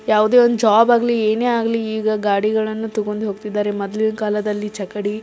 ಯಾವುದೇ ಒಂದು ಜಾಬ್ ಆಗ್ಲಿ ಏನೆ ಆಗ್ಲಿ ಈಗ ಗಾಡಿಗಲ್ಲನ್ನು ತಗೊಂಡು ಹೋಗುತಿದ್ದಾರೆ ಮೊದ್ಲು ಇದ್ದ ಕಾಲದಲ್ಲಿ ಚಕಡಿ --